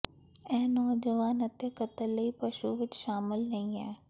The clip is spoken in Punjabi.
ਇਹ ਨੌਜਵਾਨ ਅਤੇ ਕਤਲ ਲਈ ਪਸ਼ੂ ਵਿੱਚ ਸ਼ਾਮਲ ਨਹੀ ਹੈ